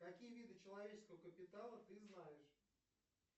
какие виды человеческого капитала ты знаешь